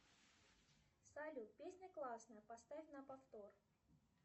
салют песня классная поставь на повтор